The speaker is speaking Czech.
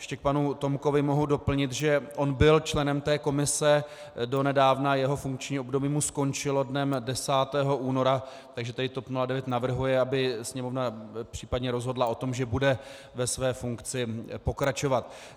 Ještě k panu Tomkovi mohu doplnit, že on byl členem té komise donedávna, jeho funkční období mu skončilo dnem 10. února, takže tady TOP 09 navrhuje, aby Sněmovna případně rozhodla o tom, že bude ve své funkci pokračovat.